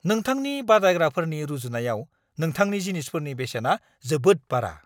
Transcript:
नोंथांनि बादायग्राफोरनि रुजुनायाव नोंथांनि जिनिसफोरनि बेसेना जोबोद बारा!